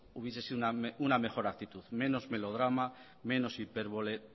hubiese sido una mejor actitud menos melodrama menos hipérbole